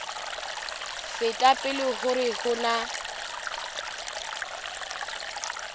feta pele hore ho na